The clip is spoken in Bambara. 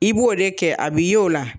I b'o de kɛ a bi y'o la.